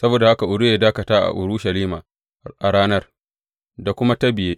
Saboda haka Uriya ya dakata a Urushalima a ranar, da kuma ta biye.